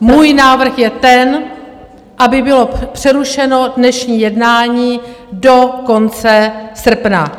Můj návrh je ten, aby bylo přerušeno dnešní jednání do konce srpna.